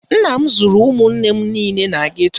Nna m zụrụ ụmụnne m niile na geto